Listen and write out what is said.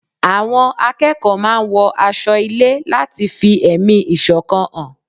Àwọn akẹ́kọ̀ọ́ máa ń wọ aṣo ilé láti fi ẹ̀mí ìṣọ̀kan hàn